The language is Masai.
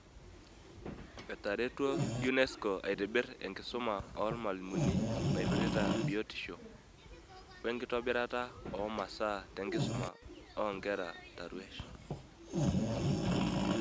Etaretuo UNESCO aitibirr enkisuma oormalimuni naipirta biotisho, wenkitobirata oomasaa tenkisuma oonkera taruesh.